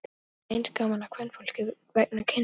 Mér þótti að eins gaman að kvenfólki vegna kynsins.